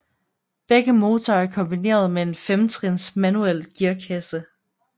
Begge motorer er kombineret med en femtrins manuel gearkasse